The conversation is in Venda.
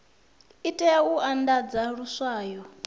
i tea u andadza luswayo